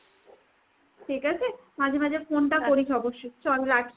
ঠিক আছে মাঝে মাঝে phone টা অবশ্যই। চল রাখি।